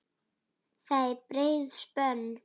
Það er breið spönn.